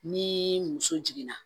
Ni muso jiginna